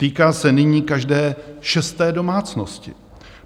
Týká se nyní každé šesté domácnosti.